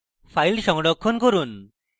file সংরক্ষণ করুন